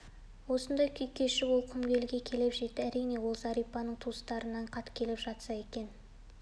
осындай күй кешіп ол құмбелге де келіп жетті әрине ол зәрипаның туыстарынан хат келіп жатса екен